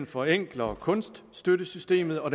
forenkler kunststøttesystemet og